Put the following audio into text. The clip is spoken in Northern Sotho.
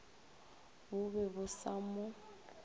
bo be bo sa mo